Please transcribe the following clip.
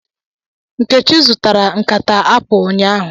Nkechi zụtara nkata Apụl ụnyaahụ